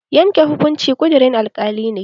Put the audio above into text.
Yanke hukunci ƙudurin alkali ne